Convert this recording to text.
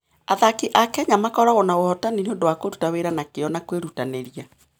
Athaki a Kenya makoragwo na ũhootani nĩ ũndũ wa kũruta wĩra na kĩyo na kwĩrutanĩria.